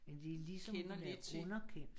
Men det er ligesom hun er underkendt